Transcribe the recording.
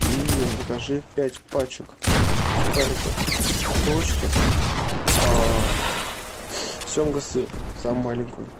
и закажи пять пачек сухариков три корочки семга сыр самую маленькую